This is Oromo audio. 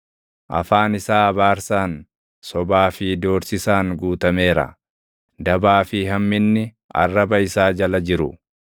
Afaan isaa abaarsaan, sobaa fi doorsisaan guutameera; dabaa fi hamminni arraba isaa jala jiru.